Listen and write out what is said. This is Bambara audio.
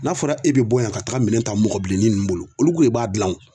N'a fɔra e be bɔ yan ka taga minɛn ta mɔgɔ bilenni nunnu bolo olu ko de b'a gilan o